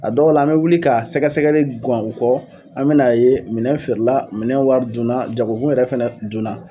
A dɔw la an bɛ wuli ka sɛgɛsɛgɛli guwan u kɔ an bɛn'a ye minɛn feerela, minɛn wari dunna, jagokun yɛrɛ fɛnɛ dunna.